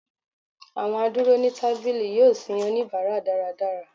awọn aduro ni tabili yọọ sin onibara daradara.